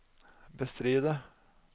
bestride